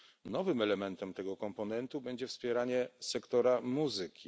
Nowym elementem tego komponentu będzie wspieranie sektora muzyki.